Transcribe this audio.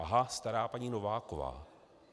Aha, stará paní Nováková.